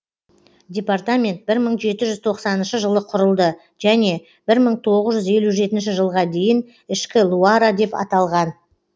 департамент бір мың жеті жұз тоқсаныншы жылы құрылды және бір мың тоғыз жүз елу жетінші жылға дейін ішкі луара деп аталған